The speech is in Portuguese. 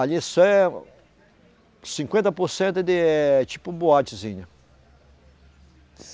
Ali só é, cinquenta por cento de eh, tipo boatezinha.